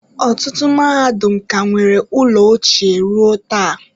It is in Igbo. Ọtụtụ mahadum ka nwere ụlọ ochie ruo taa.